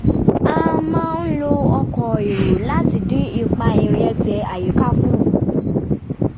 a máa ń lo ọkọ̀ èrò láti dín ipa ìrìn ẹsẹ̀ àyíká kù